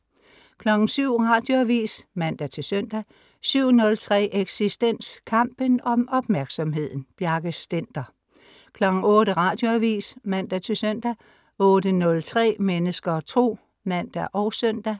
07.00 Radioavis (man-søn) 07.03 Eksistens. Kampen om opmærksomheden. Bjarke Stender 08.00 Radioavis (man-søn) 08.03 Mennesker og Tro (man og søn)